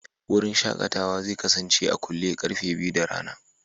Wurin shakatawa zai kasance a kule da karfe biyu na rana.